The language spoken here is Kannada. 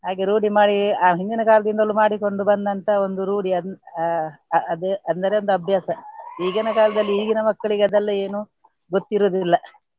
ಹಾಗೆ ರೂಢಿ ಮಾಡಿ ಆ ಹಿಂದಿನ ಕಾಲದಿಂದಲೂ ಮಾಡಿಕೊಂಡು ಬಂದಂತಹ ಒಂದು ರೂಢಿ ಅದನ್ನ್ ಹಾ ಅ~ ಅದ್ ಅದರಿಂದ ಅಭ್ಯಾಸ. ಈಗಿನ ಕಾಲದಲ್ಲಿ ಈಗಿನ ಮಕ್ಕಳಿಗೆ ಅದೆಲ್ಲ ಏನು ಗೊತ್ತಿರುವುದಿಲ್ಲ.